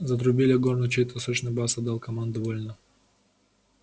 затрубили в горн и чей-то сочный бас отдал команду вольно